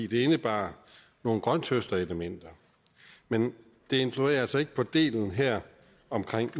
den indebar nogle grønthøsterelementer men det influerer altså ikke på delen her om